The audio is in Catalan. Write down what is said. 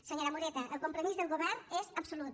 senyora moreta el compromís del govern és absolut